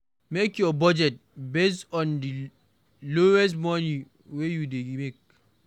Make your budget based on di lowest money wey you dey make